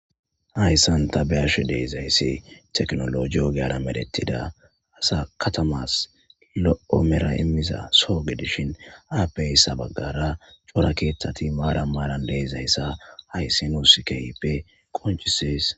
hayssan ta beashe deezayssi teknolo giyo gearamedettida asa katamas lo7omera immiza soo gedishin apeysa baggara corakeethtati maara maaran deezayssa hayssi nuusikeyppe qonchisees